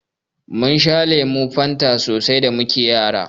Mun sha lemun Fanta so sai da muke Yara.